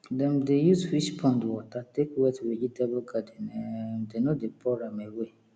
dem dey use fish pond water take wet vegetable garden um dem no dey pour am away